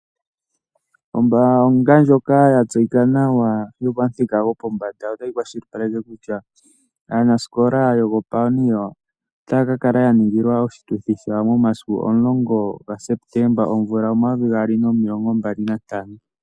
Oombaanga ndjoka ya tseyika nawa yopamuthika gopombanda otayi kwashilipaleke kutya aanasikola yo ko Paoneer . Otaya ka kala ya ningilwa oshituthi shawo momasiku omulongo ga Septemba omvula omayovi gaali nomilongo mbali nantano.